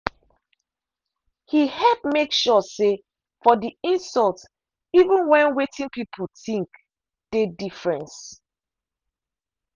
he help make sure say for di insult even when wetin people think dey difference.